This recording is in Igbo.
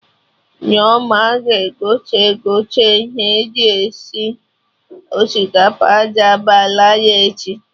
Nneoma ga-egote egote ihe eji esi osikapa jambalaya echi